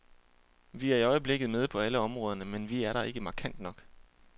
Vi er i øjeblikket med på alle områderne, men vi er der ikke markant nok.